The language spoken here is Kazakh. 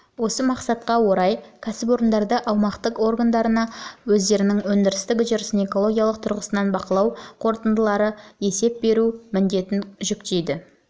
осы мақсатқа орай кәсіпорындарды аумақтық органдарына өздерінің өндірістік үрдістерін экологиялық тұрғысынан бақылау қорытындылары бойынша есеп беріп отыру міндетін жүктейтін